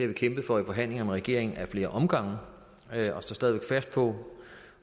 vi kæmpet for i forhandlinger med regeringen ad flere omgange og står stadig væk fast på